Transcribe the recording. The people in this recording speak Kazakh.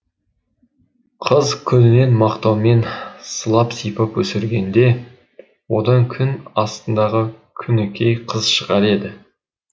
қыз күнінен мақтаумен сылап сипап өсіргенде одан күн астындағы күнікей қыз шығар еді